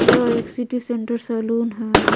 यह एक city centre saloon है।